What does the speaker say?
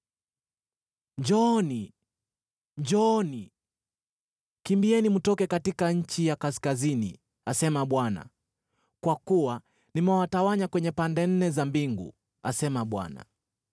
“Njooni! Njooni! Kimbieni mtoke katika nchi ya kaskazini,” asema Bwana , “Kwa kuwa nimewatawanya kwenye pande nne za mbingu,” asema Bwana .